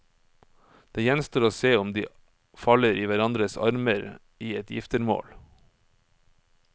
Det gjenstår å se om de faller i hverandres armer i et giftermål.